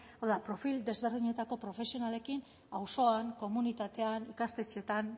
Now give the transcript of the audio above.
hau da profil desberdinetako profesionalekin auzoan komunitatean ikastetxeetan